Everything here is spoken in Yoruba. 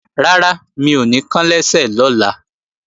Rárá, mi ò ní kán lẹ́sẹ̀ lọ́la